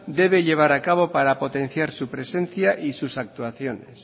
debe llevar a cabo para potenciar su presencia y sus situaciones